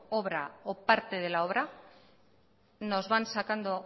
obra o parte de la obra nos van sacando